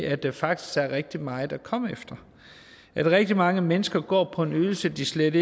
at der faktisk er rigtig meget at komme efter at rigtig mange mennesker går på en ydelse de slet